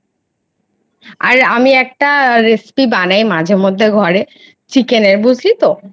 আর আমি একটা বানাই মাঝে মধ্যে ঘরে শিখে নে বুঝলি তো